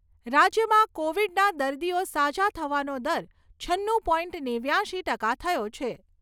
રાજ્યમાં કોવિડના દર્દીઓ સાજા થવાનો દર છન્નું પોઇન્ટ નેવ્યાશી ટકા થયો છે.